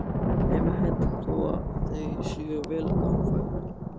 Þeim er hent þó að þeir séu vel gangfærir.